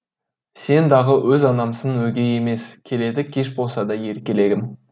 сен дағы өз анамсың өгей емес келеді кеш болса да еркелегім